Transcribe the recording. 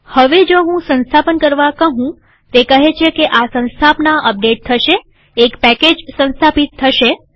હવે જો હું સંસ્થાપન કરવા કહુંતે કહે છે કે આ સંસ્થાપના અપડેટ થશેએક પેકેજ સંસ્થાપિત થશે